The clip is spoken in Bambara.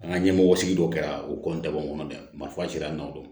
An ka ɲɛmɔgɔ sigi dɔ kɛra u kɔ n dabɔ n kɔnɔ dɛ marifa sera nakodɔn